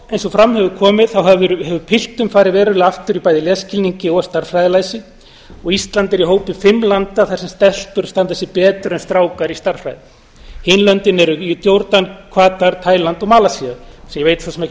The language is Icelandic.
eins og fram hefur komið hefur piltum farið verulega aftur í bæði lesskilningi og stærðfræðilæsi og ísland er í hópi fimm landa þar sem stelpur standa sig betur en strákar í stærðfræði hin löndin eru jórdan katar taíland og malasía sem ég veit svo sem ekki hvað